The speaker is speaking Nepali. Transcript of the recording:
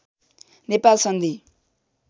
नेपाल सन्धि